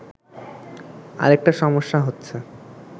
আরেকটা সমস্যা হচ্ছে